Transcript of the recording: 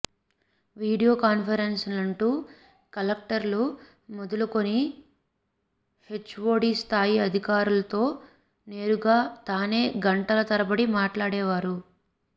video కాన్ఫరెన్స్లంటూ కలెక్టర్లు మొదలుకొని హెచ్ఓడి స్థాయి అధికారులతో నేరుగా తానే గంటల తరబడి మాట్లాడేవారు